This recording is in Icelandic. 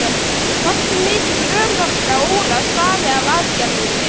Hversu mikil örorka Ólafs stafi af aðgerðinni?